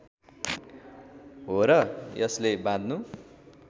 हो र यसले बाँध्नु